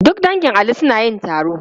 Duk dangin Ali suna yin taro.